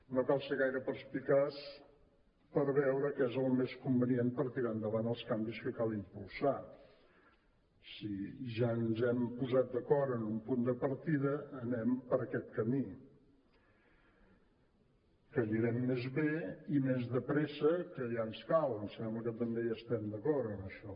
no cal ser gaire perspicaç per veure què és el més convenient per tirar endavant els canvis que cal impulsar si ja ens hem posat d’acord en un punt de partida anem per aquest camí que anirem més bé i més de pressa que ja ens cal em sembla que també hi estem d’acord en això